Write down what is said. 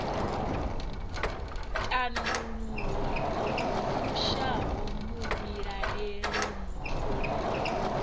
tandululwa lu fushaho muvhilaeli mutholiwa